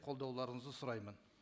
қолдауларыңызды сұраймын